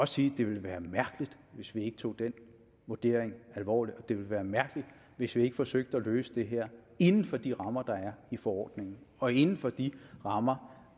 sige at det ville være mærkeligt hvis vi ikke tog den vurdering alvorligt og det ville være mærkeligt hvis vi ikke forsøgte at løse det her inden for de rammer der er i forordningen og inden for de rammer